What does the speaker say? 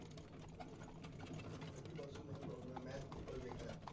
आधी पासून problem आहे maths च projecter